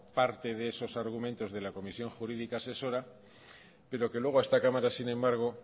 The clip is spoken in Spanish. parte de esos argumentos de la comisión jurídica asesora pero que luego esta cámara sin embargo